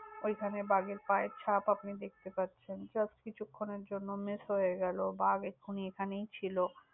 ওইখানে বাঘের পায়ের ছাপ আপনি দেখতে পাচ্ছেন। Just কিছুক্ষণের জন্য miss হয়ে গেল। বাঘ এখুন্নি এখানেই ছিল।